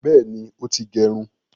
Bẹẹni, o ti gerun